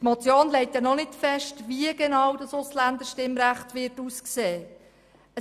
Die Motion legt ja noch nicht fest, wie genau dieses Ausländerstimmrecht aussehen würde.